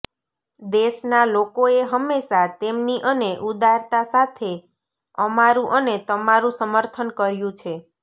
દેશના લોકોએ હંમેશા તેમની અને ઉદારતા સાથે અમારું અને તમારું સમર્થન કર્યું છે